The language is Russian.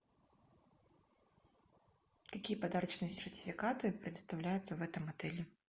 какие подарочные сертификаты предоставляются в этом отеле